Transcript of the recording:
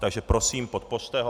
Takže prosím, podpořte ho.